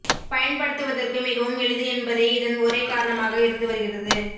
பயன்படுத்துவதற்கு மிகவும் எளிது என்பதே இதன் ஒரே காரணமாக இருந்து வருகிறது